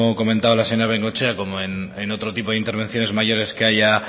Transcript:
comentaba la señora bengoechea como en otro tipo de intervenciones mayores que haya